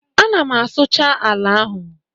Ana m asụcha ala ahụ